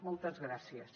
moltes gràcies